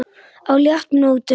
á léttum nótum.